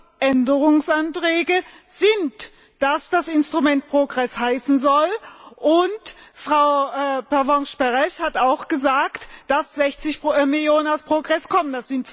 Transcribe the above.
Aber die Änderungsanträge besagen, dass das Instrument PROGRESS heißen soll, und Frau Pervenche Berès hat auch gesagt, dass 60 Millionen aus PROGRESS kommen.